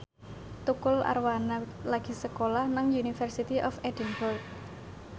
Tukul Arwana lagi sekolah nang University of Edinburgh